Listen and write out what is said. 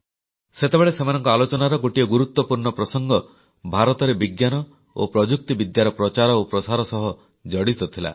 ସେତେବେଳେ ସେମାନଙ୍କ ଆଲୋଚନାର ଗୋଟିଏ ଗୁରୁତ୍ୱପୂର୍ଣ୍ଣ ପ୍ରସଙ୍ଗ ଭାରତରେ ବିଜ୍ଞାନ ଓ ପ୍ରଯୁକ୍ତିବିଦ୍ୟାର ପ୍ରଚାର ଓ ପ୍ରସାର ସହ ଜଡ଼ିତ ଥିଲା